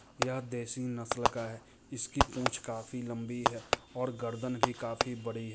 यह देसी नस्ल का है इसकी पूछ काफी लंबी है और गर्दन भी काफी बड़ी --